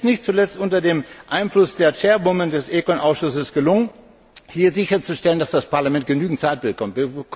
Es ist nicht zuletzt unter dem Einfluss der Vorsitzenden des ECON Ausschusses gelungen, hier sicherzustellen, dass das Parlament genügend Zeit bekommt.